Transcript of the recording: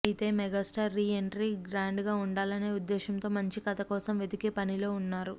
అయితే megastar re entry గ్రాండ్గా ఉండాలనే ఉద్దేశ్యంతో మంచి కథ కోసం వెదికే పనిలో ఉన్నారు